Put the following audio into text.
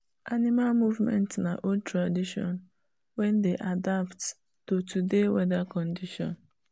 animal movement na old tradition wen dey adapt to today weather condition